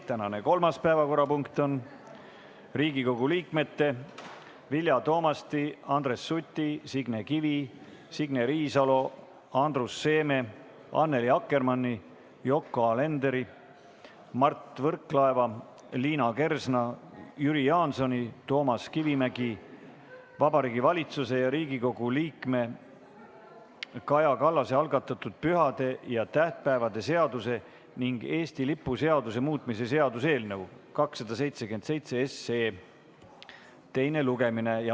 Tänane kolmas päevakorrapunkt on Riigikogu liikmete Vilja Toomasti, Andres Suti, Signe Kivi, Signe Riisalo, Andrus Seeme, Annely Akkermanni, Yoko Alenderi, Mart Võrklaeva, Liina Kersna, Jüri Jaansoni, Toomas Kivimägi, Vabariigi Valitsuse ja Riigikogu liikme Kaja Kallase algatatud pühade ja tähtpäevade seaduse ning Eesti lipu seaduse muutmise seaduse eelnõu 277 teine lugemine.